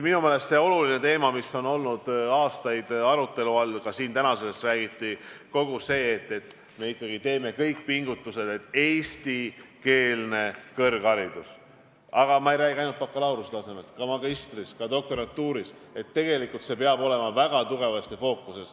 Minu meelest üks oluline teema, mis on olnud aastaid arutelu all ja millest ka siin täna räägiti, on see, et me ikkagi peame tegema pingutusi, et eestikeelne kõrgharidus – ja ma ei räägi ainult bakalaureuse tasemest, vaid ka magistriõppest ja doktorantuurist – peab olema väga tugevasti fookuses.